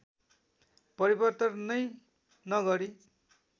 परिवर्तन नै नगरी